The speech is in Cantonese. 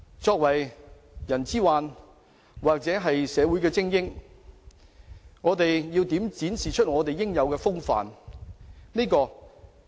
作為社會精英，我們要展示出應有的風範。